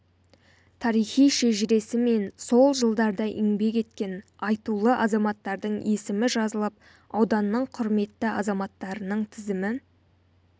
тарихи шежіресі мен сол жылдарда еңбек еткен айтулы азаматтардың есімі жазылып ауданның құрметті азаматтарының тізімі